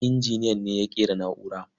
Injiniyan ne ya ƙera na'urar.